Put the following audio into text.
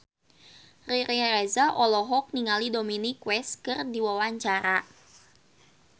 Riri Reza olohok ningali Dominic West keur diwawancara